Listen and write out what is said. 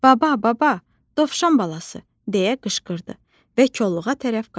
"Baba, baba, dovşan balası" deyə qışqırdı və kolluğa tərəf qaçdı.